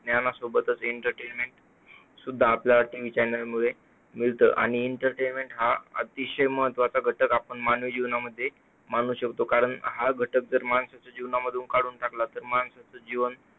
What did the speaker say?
ज्ञानासोबतच entertainment सुद्धा आपल्याला TV channel मुळे मिळतं. आणि entertainment हा अतिशय महत्त्वाचा घटक आपल्या मानवी जीवनामध्ये मानू शकतो. कारण हा घटक जर माणसाच्या जीवनातून काढून टाकला तर माणसाचे जीवन